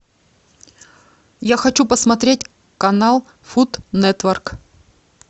я хочу посмотреть канал фуд нетворк